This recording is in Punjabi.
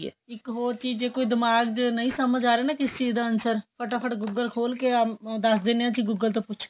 ਇੱਕ ਹੋਰ ਚੀਜ ਜੇ ਕੋਈ ਦਿਮਾਗ਼ ਵਿੱਚ ਨਹੀਂ ਸਮਝ ਆਂ ਰਿਹਾ ਕਿਸ ਚੀਜ ਦਾ answer ਫ਼ਟਾਫ਼ਟ ਗੂਗਲ ਖੋਲ ਕੇ ਦੱਸ ਦਿੰਦੇ ਆਂ google ਤੋ ਪੁੱਛ ਕੇ